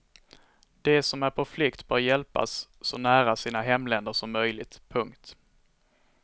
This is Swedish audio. De som är på flykt bör hjälpas så nära sina hemländer som möjligt. punkt